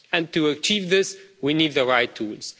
To achieve this we need the right tools.